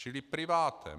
Čili privátem.